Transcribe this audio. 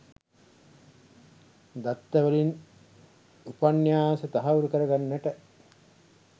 දත්ත වලින් උපන්‍යාස තහවුරු කරගන්නට